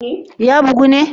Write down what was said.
Ya bugu ne?